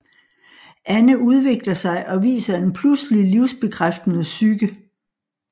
Anne udvikler sig og viser en pludselig livsbekræftende psyke